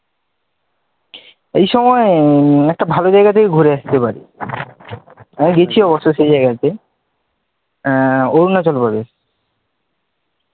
এই সময়ে একটা ভাল জায়গা থেকে ঘুরে আসতে পারিস, আমি গেছি অবশ্য সেই জায়গাতে, আহ অরুনাচল প্রদেশ